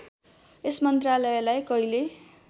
यस मन्त्रालयलाई कहिले